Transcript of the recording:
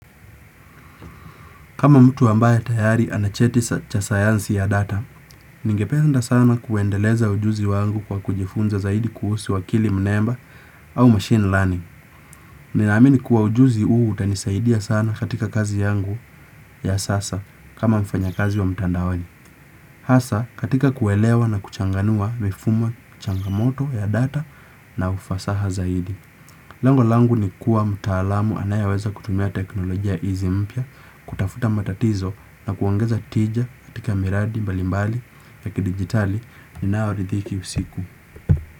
Kama mtu ambaye tayari ana cheti cha sayansi ya data, ningependa sana kuendeleza ujuzi wangu kwa kujifunza zaidi kuhusi akili mnemba au machine learning. Ninaamini kuwa ujuzi huu utanisaidia sana katika kazi yangu ya sasa kama mfanyakazi wa mtandaoni. Hasa katika kuelewa na kuchanganua mifumo changamoto ya data na ufasaha zaidi. Lengo langu ni kuwa mtaalamu anayeweza kutumia teknolojia hizi mpya, kutafuta matatizo na kuongeza tija katika miradi mbalimbali ya kidigitali ninaoridhiki usiku.